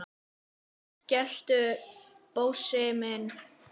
geltu, Bósi minn!